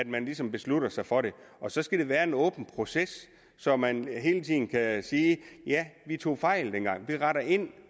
man ligesom beslutter sig for det og så skal det være en åben proces så man hele tiden kan sige ja vi tog fejl dengang vi retter ind